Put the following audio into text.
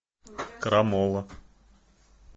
крамола